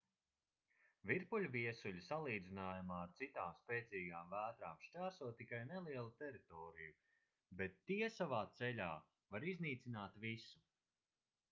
virpuļviesuļi salīdzinājumā ar citām spēcīgām vētrām šķērso tikai nelielu teritoriju bet tie savā ceļā var iznīcināt visu